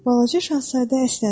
Balaca Şahzadə əsnədi.